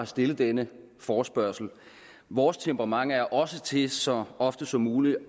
stillet denne forespørgsel vores temperament er også til så ofte som muligt